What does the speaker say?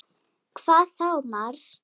Hvað þá Mars!